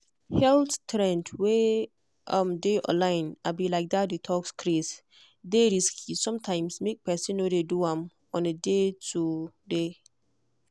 health trends wey um dey online um like that detox craze dey risky sometimes make person no dey do am on a day-to-day.